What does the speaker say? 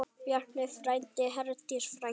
Bjarni frændi, Herdís frænka.